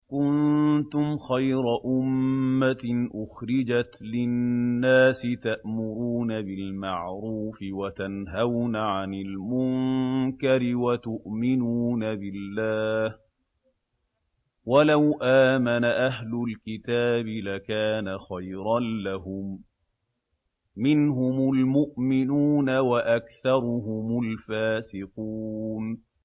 كُنتُمْ خَيْرَ أُمَّةٍ أُخْرِجَتْ لِلنَّاسِ تَأْمُرُونَ بِالْمَعْرُوفِ وَتَنْهَوْنَ عَنِ الْمُنكَرِ وَتُؤْمِنُونَ بِاللَّهِ ۗ وَلَوْ آمَنَ أَهْلُ الْكِتَابِ لَكَانَ خَيْرًا لَّهُم ۚ مِّنْهُمُ الْمُؤْمِنُونَ وَأَكْثَرُهُمُ الْفَاسِقُونَ